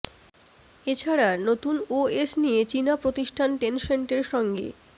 এ ছাড়া নতুন ওএস নিয়ে চীনা প্রতিষ্ঠান টেনসেন্টের সঙ্গে